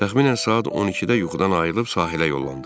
Təxminən saat 12-də yuxudan ayılıb sahilə yollandıq.